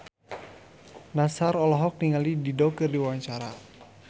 Nassar olohok ningali Dido keur diwawancara